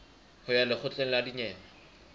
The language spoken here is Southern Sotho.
ho ya lekgotleng la dinyewe